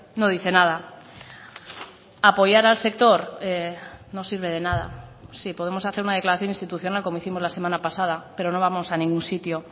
no dice nada apoyar al sector no sirve de nada sí podemos hacer una declaración institucional como hicimos la semana pasada pero no vamos a ningún sitio